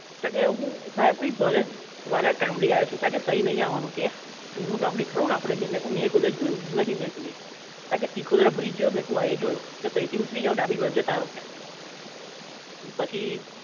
તો કે હું સાહેબ બહુ ભાલેજ વાળા ગામળી આયો છું તો કે તઇ નહીં આવાનું કે જૂનું ગામડી ખરું ને જે આપડે મેં કીધું મેં કોઈ દાડો જોયું નહીં મેં કહ્યું કોયે તા કે ચીકોદ્રા bridge જોયો મેં કીધું હા એ જોયો તો કે તઇ થી ઉતરી જાવ ડાબે બાજુ જતા રહો કોય એટલે પછી